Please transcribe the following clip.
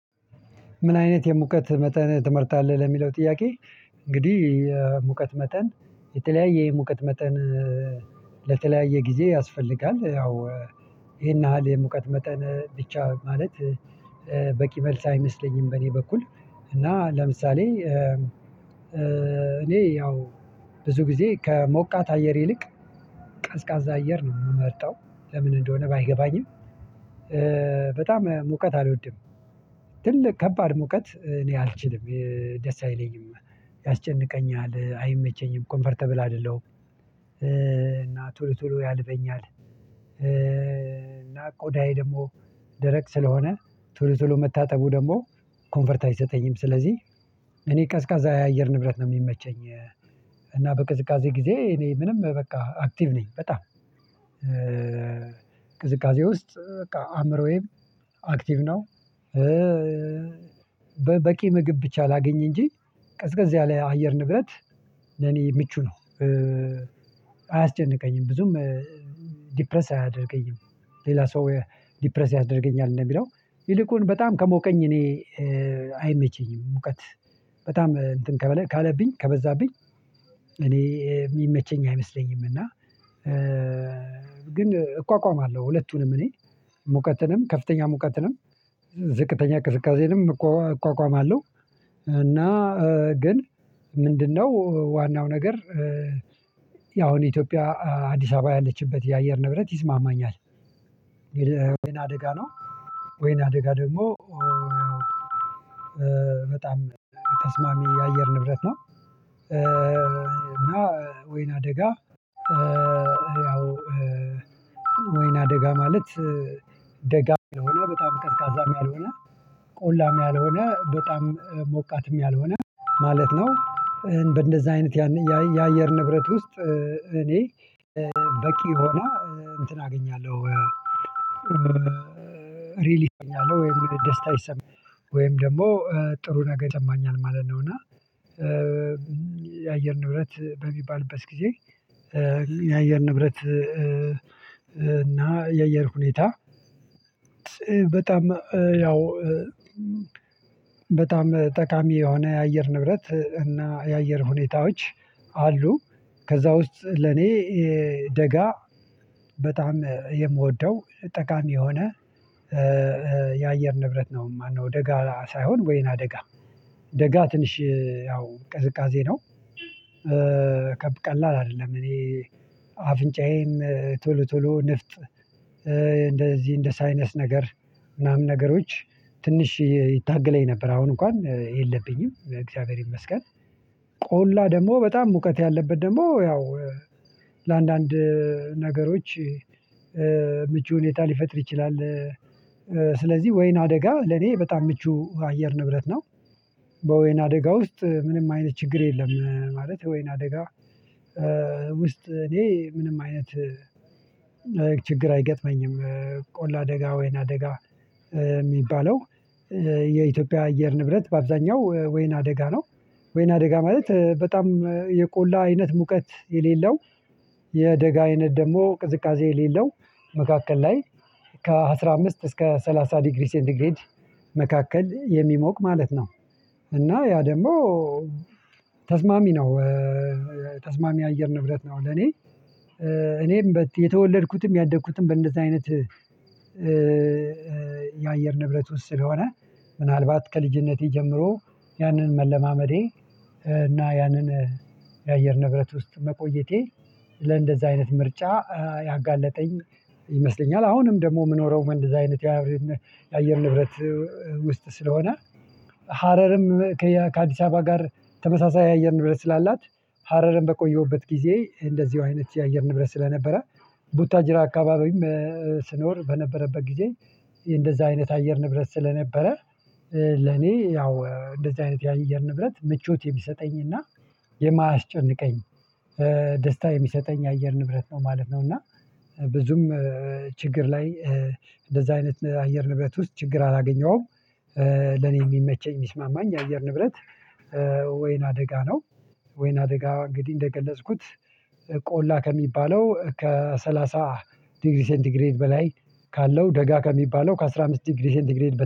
ምን አይነት የሙቀት መጠን ትመርጣለህ ለሚለው ጥያቄ? እንግዲህ የሙቀት መጠን የተለያየ የሙቀት መጠን ለተለያየ ጊዜ ያስፈልጋል ያው ይሄን ያህል ሙቀት መጠን ብቻ ማለት በቂ መልስ አይመስለኝም። በእኔ በኩል እና ለምሳሌ እኔ ያው ብዙ ጊዜ ከሞቃት አየር ይልቅ ቀዝቃዛ አየር ነው የምመርጠው ለምን እንደሆነ ባይገባኝም በጣም ሙቀት አልወድም። ትልቅ ከባድ ሙቀት እኔ አልችልም ደስ አይለኝም ያስጨንቀኛል አይመቸኝም ኮምፈርተብል አይደለሁም። እና ቱሉ ቱሉ ያልፈኛል እና ቆዳዬ ደግሞ ደረቅ ስለሆነ ቶሎቶሎ መታጠቡ ደግሞ ኮንፈርት አይሰጠኝም ስለዚህ እኔ ቀዝቃዛ የአየር ንብረት ነው የሚመቸኝ። እና በቅዝቃዜ ጊዜ እኔ ምንም በቃ አክቲቭ ነኝ በጣም ቅዝቃዜ ውስጥ በቃ አእምሮዬም አክቲቭ ነው። በቂ ምግብ ብቻ ላግኝ እንጂ ቀዝቀዝ ያለ አየር ንግረት ለኔ ምቹ ነው። አያስጨንቀኝም ብዙም ዲፕረስ አያደርገኝም። ሌላ ሰው ዲፕረስ ያደርገኛል እንደሚለው ይልቁን በጣም ከሞቀኝ እኔ አይመቸኝም ሙቀት በጣም እንትን ከበዛብኝ ካለብኝ ከበበዛብኝ እኔ የሚመቸኝ አይመስለኝም። እና ግን እቋቋማለሁ ሁለቱንም እኔ ሙቀትንም ከፍተኛ ሙቀትንም ዝቅተኛ ቅዝቃዜ እቋቋማለሁ እና ግን ምንድነው ዋናው ነገር? ያው እኔ ኢትዮጵያ አዲስ አበባ ያለችበት የአየር ንብረት ይስማማኛል ግን ወይና አደጋ ነው ወይን አደጋ ደግሞ በጣም ተስማሚ የአየር ንብረት ነው። እና ወይና አደጋ ያው ወይና አደጋ ማለት ደጋ የሆነ በጣም ከስካዛም ያልሆነ ቆላም ያልሆነ በጣም ሞቃትም ያልሆነ ማለት ነው። እንደዚህ አይነት ያን የአየር ንብረት ውስጥ እኔ በቂ ሆና እንትን አገኛለሁ ሬሌ ይሰማኛል ወይም ደስታ ይሰማኛል ወይም ደግሞ ጥሩ ነገር ይጠማኛል ማለት ነው። እና የአየር ንብረት በሚባልበት ጊዜ የአየር ንብረት እና የየር ሁኔታ በጣም ያው በጣም ጠቃሚ የሆነ የአየር ንብረት እና የአየር ሁኔታዎች አሉ። ከዛ ውስጥ ለኔ ደጋ በጣም የምወደው ጠቃሚ የሆነ የአየር ንብረት ነው ማነው ደጋ ሳይሆን ወይና ደጋ ደጋ ትንሽ ያው ቅዝቃዜ ነው። ከብ ቀላል አይደለም እኔ አፍንጫዬም ቶሎ ቶሎ ንፍጥ እንደዚህ እንደ ሳይነስ ነገር ምናምን ነገሮች ትንሽ ይታገለኝ ነበር አሁን እንኳን የለብኝም እግዚአብሔር ይመስገን። ቆላ ደግሞ በጣም ሙቀት ያለበት ደግሞ ያው ለአንዳንድ ነገሮች ምቹ ሁኔታ ሊፈጥር ይችላል። ወይን አደጋ ለኔ በጣም ምቹ አየር ንብረት ነው በወይን አደጋ ውስጥ ምንም አይነት ችግር የለም ማለት ወይና አደጋ ውስጥ እኔ ምንም አይነት ችግር አይገጥመኝም። ቆላ አደጋ ወይና አደጋ የሚባለው የኢትዮጵያ አየር ንብረት በአብዛኛው ወይና አደጋ ነው። ወይና አደጋ ማለት በጣም የቆላ አይነት ሙቀት የሌለው የደጋ አይነት ደግሞ ቅዝቃዜ የሌለው መካከል ላይ ከ አስራምስት እስከ ሰላሳ ዲግሪ ሴንት ዲግሪ መካከል የሚሞቅ ማለት ነው። እና ያ ደግሞ ተስማሚ ነው ተስማሚ አየር ንብረት ነው ለእኔ። እኔም የተወለድኩትም ያደግኩትም በእንደዚህ አይነት የአየር ንብረት ውስጥ ስለሆነ ምናልባት ከልጅነቴ ጀምሮ ያንን መለማመዴ እና ያንን የአየር ንብረት ውስጥ መቆየቴ ለእንደዛ አይነት ምርጫ ያጋለጠኝ ይመስለኛል። አሁንም ደግሞ የምኖረው ለእንደዛ አይነት የአየር ንብረት ውስጥ ስለሆነ ሀረርም ከአዲስ አበባ ጋር ተመሳሳይ የአየር ንብረት ስላላት ሀረርን በቆየሁበት ጊዜ እንደዚሁ አይነት የአየር ንብረት ስለነበረ ቡታጅራ አካባቢም ስኖር በነበረበት ጊዜ እንደዛ አይነት አየር ንብረት ስለነበረ ለእኔ ያው እንደዚህ አይነት ያየር ንብረት ምቾት የሚሰጠኝና የማያስጨንቀኝ ደስታ የሚሰጠኝ አየር ንብረት ነው ማለት ነው። እና ብዙም ችግር ላይ እንደዛ አይነት አየር ንብረት ውስጥ ችግር አላገኘሁም። ለኔ የሚመቸኝ የሚስማማኝ የአየር ንብረት ወይን አደጋ ነው። ወይን አደጋ እንግዲህ እንደገለጽኩት ቆላ ከሚባለው ከሰላሳ ዲግሪ ሴንቲግሬድ በላይ ካለው ደጋ ከሚባለው ከአስራ አምስት ዲግሪ ሴንቲግሬድ